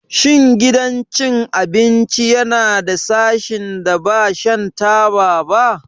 Shin gidan cin abinci yana da sashin da ba shan taba ba?